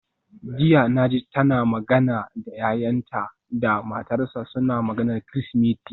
Jiya naji tana magana da yayanta da matarsa, suna maganar Kirsimeti.